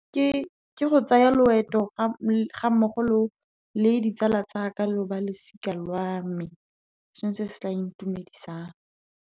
Ke go tsaya loeto ga mmogo le ditsala tsaka, lo balosika lwa me, se se tla intumedisang?